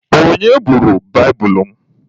Onye buuru baibulu m?